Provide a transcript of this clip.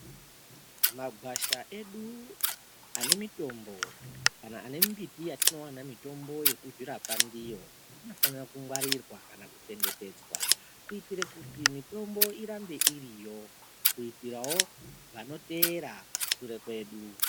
Magwasha edu ane mitombo kana ane mbiti yatinowana mitombo yekuzvi zvirapa ndiyo anofanirwa ku ngwarira kana kuchengetedzwa kuitire kuti mitombo irambe iriyo kuitirawo vano teera shure kwedu.